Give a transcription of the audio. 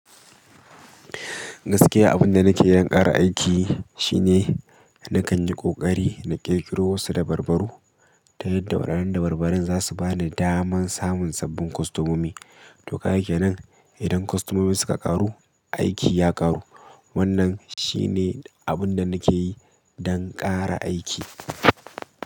Gaskiya abunda nake yi don ƙara aiki shine nakan yi ƙoƙari na ƙirƙiro wasu dabarbaru ta yadda waɗannan dabarbarun za su ba ni daman samun sabbin kostomomi. To, kaga kenan idan kostomomi suka ƙaru, aiki ya ƙaru. Wannan shine abunda nake yi dan ƙara aiki.